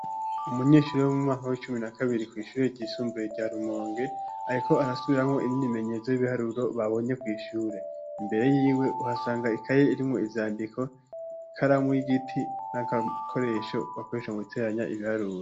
Umunyeshure wo mu mwaka w'icumi na kabiri kw'ishure ryisumbuye rya Rumonge bariko barasubiramwo imyimenyerezo babonye kw'ishure. Imbere yiwe uhasanga ikaye irimwo ivyandiko, ikaramu y'igiti n'agakoresha mu guteranya ibiharuro.